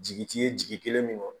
Jigi ti ye jigi kelen min kan